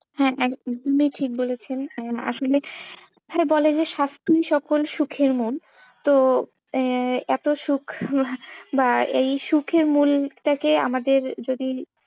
হ্যাঁ, একদমই ঠিক বলেছেন আসলে হ্যাঁ, বলে যে স্বাস্থ্যই সকল সুখের মূল তো আহ এতো সুখ বা এই সুখের মূলটাকে আমাদের যদি,